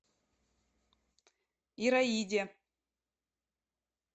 ираиде